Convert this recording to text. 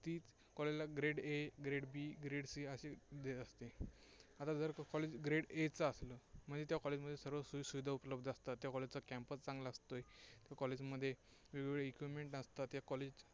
की grade a grade b grade c असे grade असतात. आता जर college grade a चा असेल म्हणजे त्या College मध्ये सर्व सोईसुविधा उपलब्ध असतात. campus चांगला असतो. College मध्ये वेगवेगळे equipment असतात. या College मध्ये